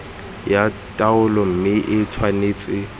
ya taolo mme e tshwanetse